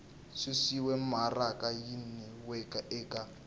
susiwe maraka yin we eka